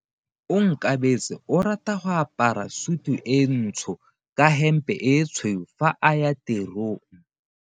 Onkabetse o rata go apara sutu e ntsho ka hempe e tshweu fa a ya tirong.